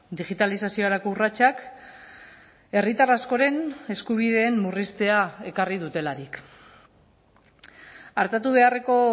digitalizaziorako urratsak herritar askoren eskubideen murriztea ekarri dutelarik artatu beharreko